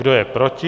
Kdo je proti?